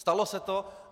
Stalo se to.